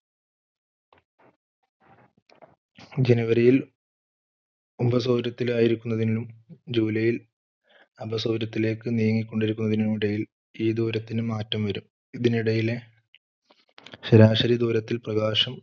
January യിൽ ഉപസൂര്യത്തിന് ആയിരിക്കുന്നതിനും july ൽ അപസ്വരത്തിലേക്ക് നീങ്ങി കൊണ്ടിരിക്കുന്നതിനും ഇടയിൽ ഈ ദൂരത്തിന് മാറ്റം വരും. ഇതിനിടയിലെ ശരാശരി ദൂരത്തിൽ പ്രകാശം